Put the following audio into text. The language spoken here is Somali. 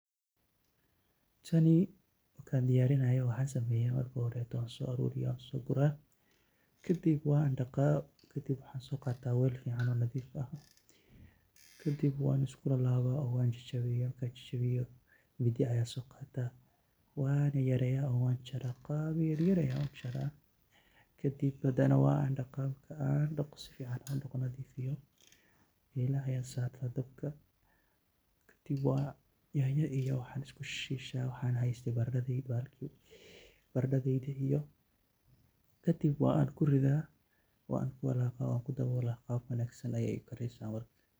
tani markaan diyarinayo waxaan sameeyaa, marka horeeto waan so guraa. wel nadif iyo mindi ayaan so qaataa wan jarjaraaa kadib digsiga ayaan dabka saartaa, kadib yanyo iyo barandho ayaan ku shiilaa, kadib qaab wanaagsan ayey u kareysaa marka.